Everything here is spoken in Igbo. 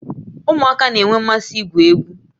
Ụmụaka na-enwe mmasị igwu egwu